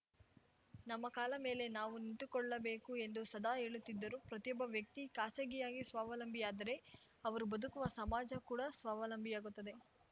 ನಮ್ಮ ಕಾಲ ಮೇಲೆ ನಾವು ನಿಂತುಕೊಳ್ಳಬೇಕು ಎಂದು ಸದಾ ಹೇಳುತ್ತಿದ್ದರು ಪ್ರತಿಯೊಬ್ಬ ವ್ಯಕ್ತಿ ಖಾಸಗಿಯಾಗಿ ಸ್ವಾವಲಂಬಿಯಾದರೆ ಅವರು ಬದುಕುವ ಸಮಾಜ ಕೂಡ ಸ್ವಾವಲಂಬಿಯಾಗುತ್ತದೆ